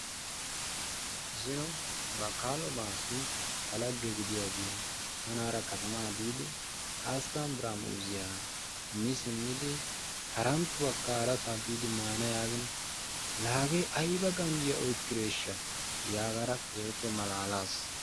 Zino bakkaalo baassi tanaara lagge gidiyaage tanaara katamaa biidi hasttamu biraa muuzziya mi simmidi haranttuwakka harasaa biidi maana yaagin la hagee ayiba ganjjiya oyikideeshsha yaagada keehippe malaalas.